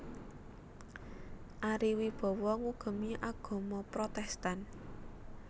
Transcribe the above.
Ari Wibowo ngugemi agama Protèstan